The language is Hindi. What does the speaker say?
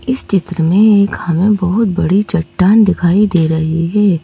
इस चित्र में एक हमें बहुत बड़ी चट्टान दिखाई दे रही है।